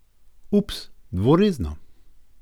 Ups, dvorezno?